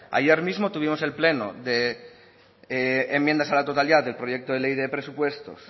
ayer mismo tuvimos el pleno de enmiendas a la totalidad del proyecto de ley de presupuestos